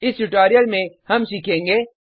इस ट्यूटोरियल में हम सीखेंगे